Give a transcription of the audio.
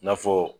I n'a fɔ